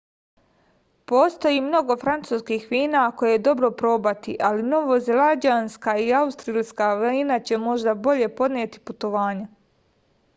postoji mnogo francuskih vina koje je dobro probati ali novozelanđanska i australijska vina će možda bolje podneti putovanje